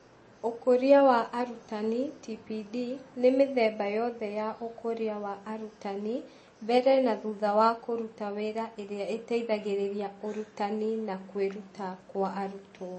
Ũkũria wa arutani (TPD) nĩ mĩthemba yothe ya ũkũria wa arutani mbere na thutha wa kũruta wĩra ĩrĩa ĩteithagĩrĩria ũrutani na kwĩruta kwa arutwo,